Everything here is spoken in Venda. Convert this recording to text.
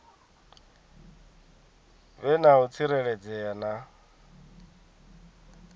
vhe na u tsireledzea na